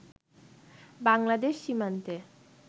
বাংলাদেশ সীমান্তে